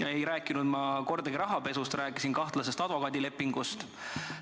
Ma ei rääkinud kordagi rahapesust, rääkisin kahtlasest advokaadilepingust.